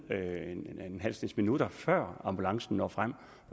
en halv snes minutter før ambulancen når frem